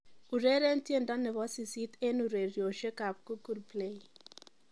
ureren tiendo nebo sisit en ureryosiek ab Google play